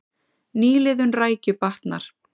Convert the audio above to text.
Nýliðun rækju batnar